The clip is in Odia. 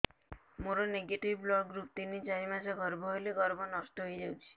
ମୋର ନେଗେଟିଭ ବ୍ଲଡ଼ ଗ୍ରୁପ ତିନ ଚାରି ମାସ ଗର୍ଭ ହେଲେ ଗର୍ଭ ନଷ୍ଟ ହେଇଯାଉଛି